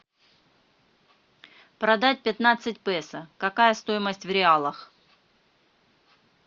продать пятнадцать песо какая стоимость в реалах